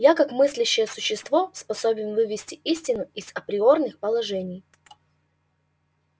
я как мыслящее существо способен вывести истину из априорных положений